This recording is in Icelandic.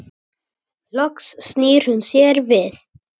Loks snýr hún sér við.